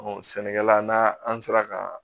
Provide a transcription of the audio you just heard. sɛnɛkɛla n'a an sera ka